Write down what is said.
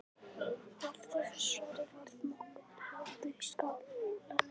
Af þessu svari varð nokkur hlátur í skálanum.